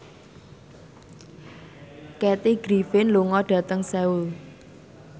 Kathy Griffin lunga dhateng Seoul